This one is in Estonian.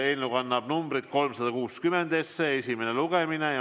Eelnõu kannab numbrit 360, algab esimene lugemine.